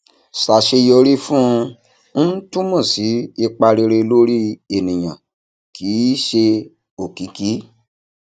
ṣàṣeyọrí fún un túmọ sí ipa rere lórí ènìyàn kì í ṣe òkìkí